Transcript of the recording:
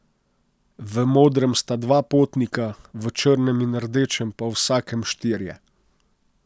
V modrem sta dva potnika, v črnem in rdečem pa v vsakem štirje.